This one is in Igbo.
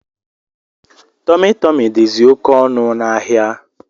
Tumi Tumi dizi oké ọnụ na áhiá.